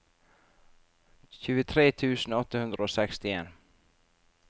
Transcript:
tjuetre tusen åtte hundre og sekstien